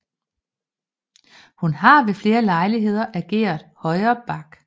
Hun har ved flere lejligheder ageret højre back